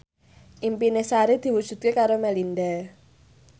impine Sari diwujudke karo Melinda